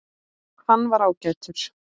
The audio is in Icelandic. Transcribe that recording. Hann var ágætur